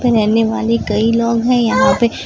रहने वाली कई लोग हैं यहां पे--